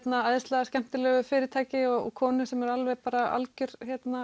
æðislega skemmtilegu fyrirtæki og konu sem er alveg bara alger